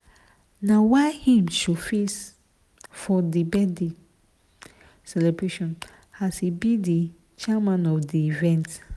na why im showface for di birthday celebration as be di chairman of di event.